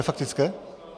Ve faktické?